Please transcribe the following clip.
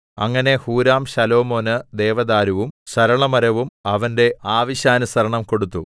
അങ്ങനെ ഹൂരാം ശലോമോന് ദേവദാരുവും സരളമരവും അവന്റെ ആവശ്യാനുസരണം കൊടുത്തു